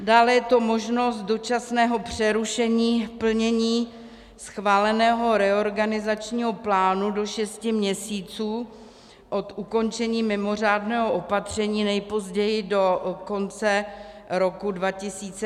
Dále je to možnost dočasného přerušení plnění schváleného reorganizačního plánu do šesti měsíců od ukončení mimořádného opatření, nejpozději do konce roku 2020, tedy do 31. prosince.